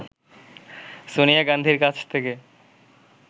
সোনিয়া গান্ধীর কাছ থেকে